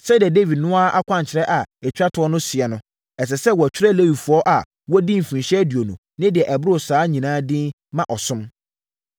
Sɛdeɛ Dawid no ara akwankyerɛ a ɛtwa toɔ no seɛ no, ɛsɛ sɛ wɔtwerɛ Lewifoɔ a wɔadi mfirinhyia aduonu ne deɛ ɛboro saa nyinaa din ma ɔsom.